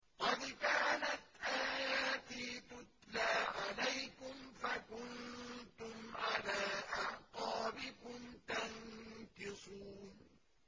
قَدْ كَانَتْ آيَاتِي تُتْلَىٰ عَلَيْكُمْ فَكُنتُمْ عَلَىٰ أَعْقَابِكُمْ تَنكِصُونَ